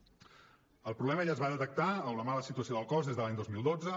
el problema ja es va detectar o la mala situació del cos des de l’any dos mil dotze